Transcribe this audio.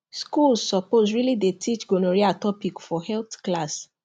schools suppose really dey teach gonorrhea topic for health class